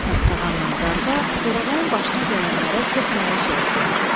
Saqsağanla qarğa Torağayın başına gələnlərə çox məyus oldular.